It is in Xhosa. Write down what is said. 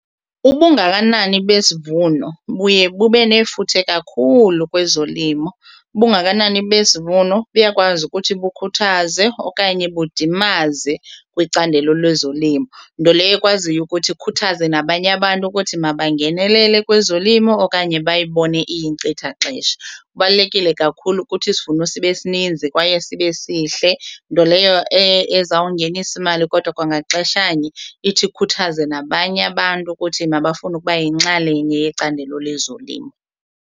Ubungakanani besivuno buye bube nefuthe kakhulu kwezolimo. Ubungakanani besivuno buyakwazi ukuthi bukhuthaze okanye budimazise kwicandelo lezolimo nto leyo ekwaziyo kubo ukuthi ikhuthaze nabanye abantu ukuthi mabangenelele kwezolimo okanye bayibone iyinkcitha xesha. Kubalulekile kakhulu ukuthi isivuno sibe sininzi kwaye sibe sihle nto leyo ezawungenisa imali kodwa kwangaxeshanye ithi ikhuthaze nabanye abantu ukuthi mabafune ukubayinxalenye yecandelo lwezolimo.